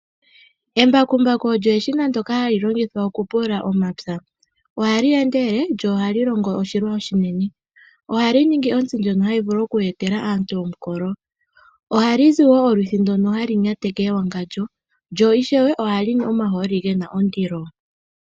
Embakumbaku olyo eshina ndjoka hali longithwa oku pulula omapya. Oha li endelele, lyo oha li longo oshilwa oshinene. Oha li ningi ontsi, ndjono hayi vulu oku etela aantu omukolo. Oha li zi wo olwithi , ndono halu nyateke ewangandjo. Lyo ishewe, oha li nu omahooli ge na ondilo.